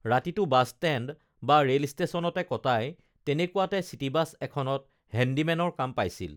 ৰাতিটো বাছষ্টেণ্ড বা ৰেল ষ্টেচনতে কটায় তেনেকুৱাতে চিটিবাছ এখনত হেন্দিমেনৰ কাম পাইছিল